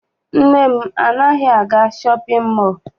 Nna m anaghị aga shọpịn.